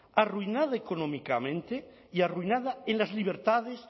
arruinada económicamente y arruinada en las libertades